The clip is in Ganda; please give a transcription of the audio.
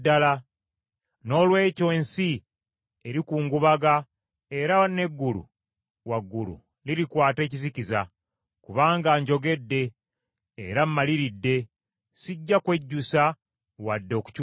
Noolwekyo ensi erikungubaga era n’eggulu waggulu lirikwata ekizikiza, kubanga njogedde era maliridde sijja kwejjusa wadde okukyusaamu.”